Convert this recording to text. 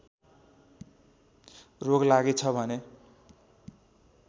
रोग लागेछ भने